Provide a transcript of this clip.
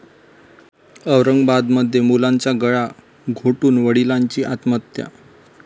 औरंगाबादमध्ये मुलांचा गळा घोटून वडिलांची आत्महत्या